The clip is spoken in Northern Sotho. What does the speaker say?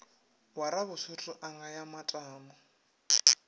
wa rabasotho a ngaya matamo